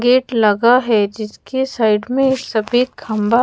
gate लगा है जिसके साइड में ए सफेद खंबा--